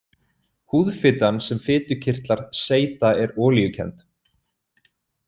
Húðfitan sem fitukirtlar seyta er olíukennd.